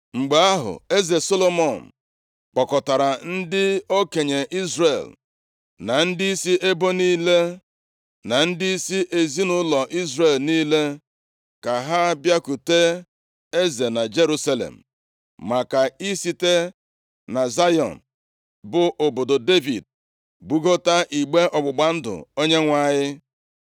Mgbe ahụ, eze Solomọn kpọkọtara ndị okenye Izrel, na ndịisi ebo niile, na ndịisi ezinaụlọ Izrel niile, ka ha bịakwute eze na Jerusalem, maka i site na Zayọn bụ obodo Devid bugota igbe ọgbụgba ndụ Onyenwe anyị.